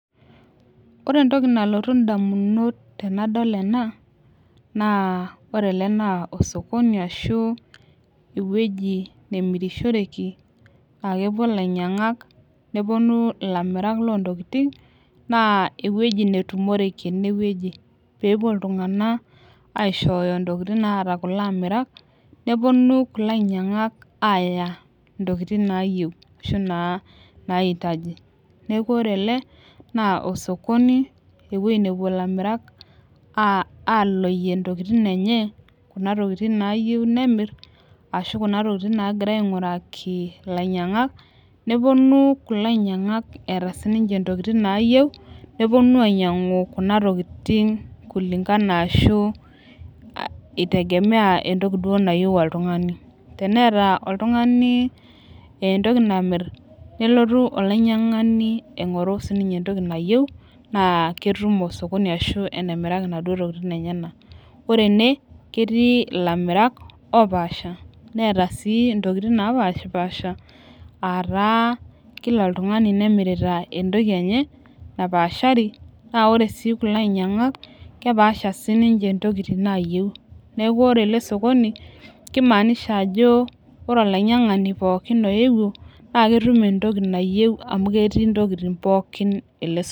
Ore entoki nalotu damunot tenadol ena. naa ore ele naa osokoni ashu ewueji nemirishoreki.aa kepuo ilainyangak nepuonu ilamirak loo wuejitin. naa ewueji netumoreki, ene wueji pee epuo iltunganak aishooyo ntokitin naata kulo amirak. nepuonu kulo ainyiangak aishooyo ntokitin naayieu. ashu naaitaji. neeku ore ele osokoni ewueji nepuo ilamirak aaloyie ntokitin enye. kuna tokitin naayieu nemir. ashy Kuna tokitin naagirae aamiraki ilainyangak. nepuonu kulo ainyiangak eeta sii ninche ntokitin naayieu nepuonu ainyiangu Kuna tokitin kulingana ashu itegemea entoki duo nayieu oltungani. tenetaa oltungani entoki namir nelotu olainyiangani aing'oru sii ninye entoki nayieu. naa ketum osokoni ashu enemiraki inaduoo tokitin enyenak. ore ene ketii ilamirak opaasha. neeta sii ntokitin naapashipaasha.aa taa Kila oltungani nemirta entoki enye napaashari. naa ore sii kulo ainyiangak ekepaasha sii ninche ntokitin naayieu. neeku ore ele sokoni kimaanisha ajo ore olainyiangani pookin oyewuo naa ketum entoki nayieu amu ketii ntokitin pookin ele sokoni.